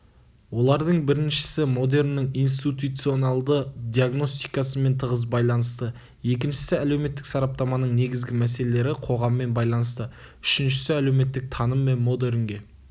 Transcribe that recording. олардың біріншісі модерннің институционалды диагностикасымен тығыз байланысты екіншісі әлеуметтік сараптаманың негізгі мәселелері қоғаммен байланысты үшіншісі әлеуметтік таным мен модернге